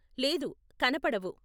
లేదు, కనపడవు.